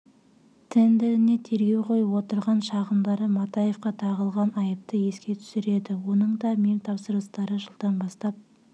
тендеріне тергеу қойып отырған шағымдары матаевқа тағылған айыпты еске түсіреді оның да мемтапсырыстары жылдан бастап